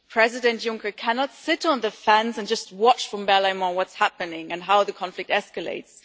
President Juncker cannot sit on the fence and just watch from Berlaymont what is happening and how the conflict escalates.